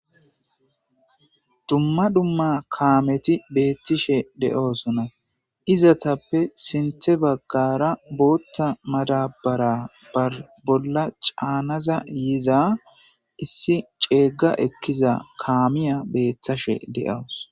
dumma dumma kaameti beettishe de7oosona izatappe sinthe baggara bootta madabara bar bolla caanaza yiza issi ceegga ekkiza kaamiya beetthashe de7aws